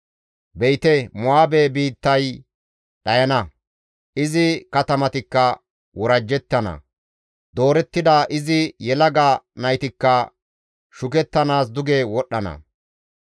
Be7ite Mo7aabe biittay dhayana; izi katamatikka worajjettana; doorettida izi yelaga naytikka shukettanaas duge wodhdhana; iza sunththay GODAY Ubbaafe Wolqqama Xoossay,